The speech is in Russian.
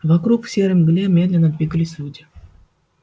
вокруг в серой мгле медленно двигались люди